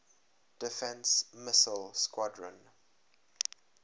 defense missile squadron